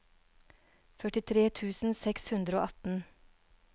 førtitre tusen seks hundre og atten